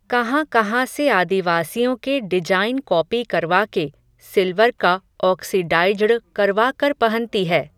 कहाँ कहाँ से आदिवासियों के डिजाईन कॉपी करवा के, सिल्वर का ऑक्सीडाईज्ड़ करवा कर पहनती है